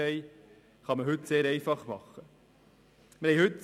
Das kann man heute sehr viel einfacher machen.